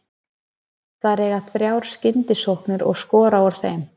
Þær eiga þrjár skyndisóknir og skora úr þeim.